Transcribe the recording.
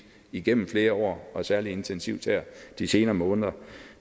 igennem flere år og særlig intensivt her de senere måneder